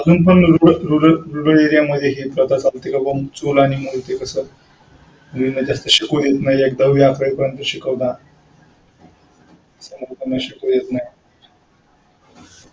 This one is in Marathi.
हा तेच अजून पण rural area मध्ये हेय चूल आणि मूल ते कसं मुलींना शिकू देत नाही दहावी अकरावी पर्यंत शिकवता नंतर त्यांना शिकू देत नाही.